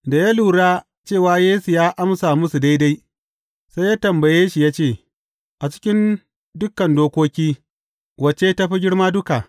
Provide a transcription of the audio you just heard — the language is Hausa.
Da ya lura cewa Yesu ya amsa musu daidai, sai ya tambaye shi ya ce, A cikin dukan dokoki, wacce ta fi girma duka?